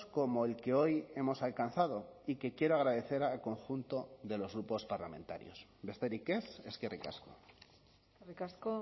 como el que hoy hemos alcanzado y que quiero agradecer al conjunto de los grupos parlamentarios besterik ez eskerrik asko eskerrik asko